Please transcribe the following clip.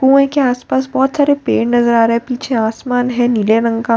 कुएं के आस पास बहोत सारे पेड़ नजर आ रहे हैं पीछे आसमान है नीले रंग का--